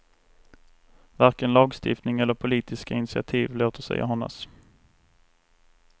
Varken lagstiftning eller politiska initiativ låter sig anas.